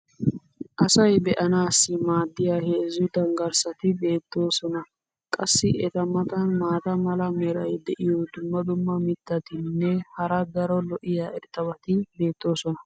Asay be'anaassi maadiya heezzu danggarsati beetoosona. qassi eta matan maata mala meray diyo dumma dumma mitatinne hara daro lo'iya irxxabati beetoosona.